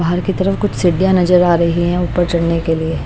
बाहर की तरफ कुछ सिडियां नजर आ रही हैं ऊपर चढ़ने के लिए--